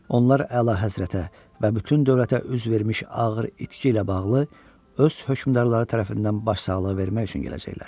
Onlar Əlahəzrətə və bütün dövlətə üz vermiş ağır itki ilə bağlı öz hökmdarları tərəfindən başsağlığı vermək üçün gələcəklər.